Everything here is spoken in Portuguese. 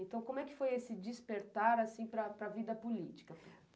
Então, como é que foi esse despertar para a vida política?